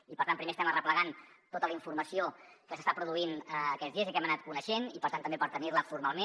i per tant primer estem arreplegant tota la informació que s’està produint aquests dies i que hem anat coneixent i per tant també per tenir la formalment